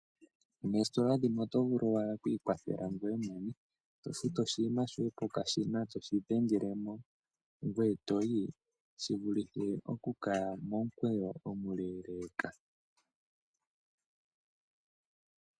Oositola dhimwe oto vulu wala oku ikwathela ngoye mwene eto futu oshinima shoye pokashina etoshi dhengelemo ngoye etoyi shi vulithe oku kaya momukweyo omuleeleka.